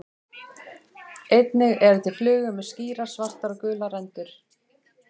Einnig eru til flugur með skýrar svartar og gular rendur.